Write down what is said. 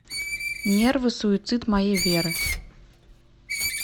нервы суицид моей веры